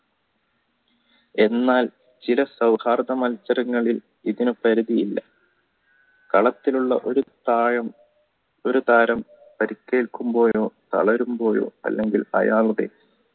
എന്നാൽ ചില സൗഹാർദ മത്സരങ്ങളിൽ ഇങ്ങനെ പരിധിയില്ല കാലത്തിലുള്ള ഒരു പ്രായം ഒരു താരം പരിക്കേൽക്കുമ്പോയോ തളരുമ്പോയോ അല്ലെങ്കിൽ അയാളുടെ